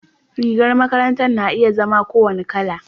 rigar makaranta na iya zama ko wani Kala